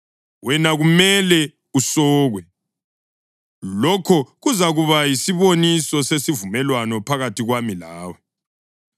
Wena kumele usokwe, lokho kuzakuba yisiboniso sesivumelwano phakathi kwami lawe.